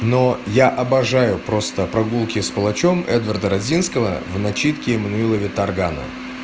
но я обожаю просто прогулки с палачом эдварда радзинского в начитке эммануила виторгана